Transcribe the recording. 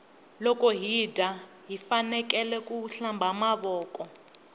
loko hi dya hifanekele ku hlamba mavoko